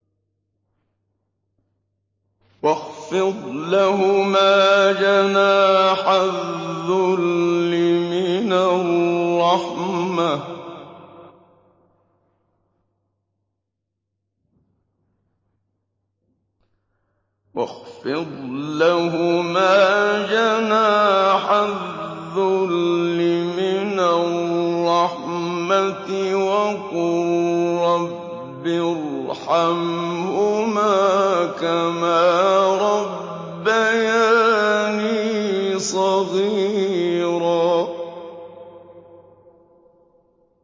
وَاخْفِضْ لَهُمَا جَنَاحَ الذُّلِّ مِنَ الرَّحْمَةِ وَقُل رَّبِّ ارْحَمْهُمَا كَمَا رَبَّيَانِي صَغِيرًا